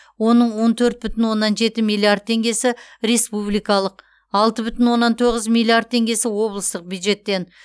оның он төрт бүтін оннан жеті миллиард теңгесі республикалық алты бүтін оннан тоғыз миллиард теңгесі облыстық бюджеттен